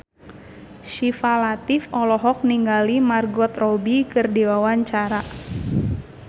Syifa Latief olohok ningali Margot Robbie keur diwawancara